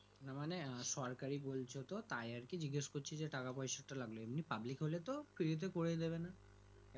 না মানে সরকারি বলছো তো তাই আরকি জিগেশ করছি যে টাকা পয়সাটা লাগলো এমনি public হলে তো Free করেই দেবে না